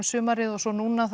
sumarið og svo núna